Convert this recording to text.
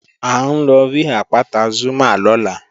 À ń lọ rí àpáta Zúmá lọ́la